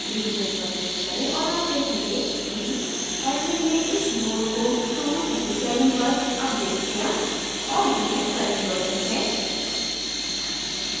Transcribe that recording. revisions पर click करें और आप देखेंगे कि admin ने इस node को 2:37 पर अपडेट किया है और यह current version है